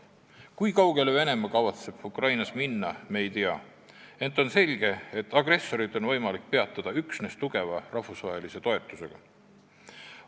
Kui kaugele kavatseb Venemaa Ukrainas minna, seda me ei tea, ent on selge, et agressorit on võimalik peatada üksnes Ukraina tugeva rahvusvahelise toetuse abil.